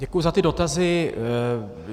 Děkuji za ty dotazy.